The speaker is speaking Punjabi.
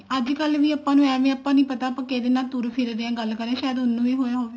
ਅੱਜਕਲ ਵੀ ਆਪਾਂ ਨੂੰ ਏਵੇਂ ਆਪਾਂ ਨੂੰ ਨੀ ਪਤਾ ਕਿਹਦੇ ਨਾਲ ਤੁਰ ਫਿਰ ਰਹੇ ਹਾਂ ਸ਼ਾਇਦ ਉਹਨੂੰ ਵੀ ਹੋਇਆ ਹੋਵੇ